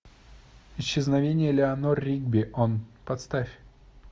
исчезновение элеанор ригби поставь